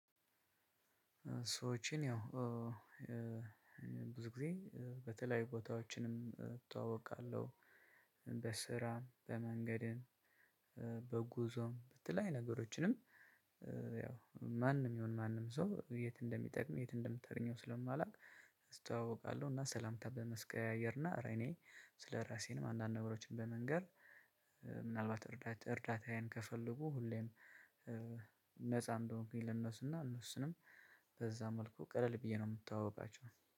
ሰዎችን ያው ብዙ ጊዜ በተለያዩ ቦታዎችንም እተዋወቃለሁ በስራም በመንገድም በጉዞም በተለያየ ነገሮችንም ያው ማንም ይሁን ማንም ሰው የት እንደሚጠቅሞ የት እንደምታገኘው ስለማላውቅ። እና ሰላምታ በመቀያየር እና እረ እኔ ስለራሴም አንዳንድ ነገሮችን በመንገር ምን አልባት እርዳታ እርዳታዬን ከፈለጉ ሁሌም ነፃ እንደሆንኩኝ ለእነሡና እነሡንም በዛ መልኩ ቀለል ብዬ ነው የምተዋወቃቸው